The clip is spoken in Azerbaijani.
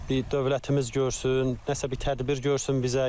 Bir dövlətimiz görsün, nəsə bir tədbir görsün bizə.